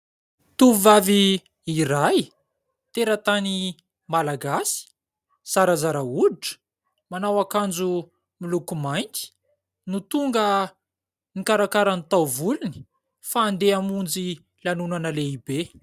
Tovovavy iray teratany malagasy, zarazara hoditra. Manao akanjo miloko mainty no tonga nikarakara ny taovolony fa andeha hamonjy lanonana lehibe.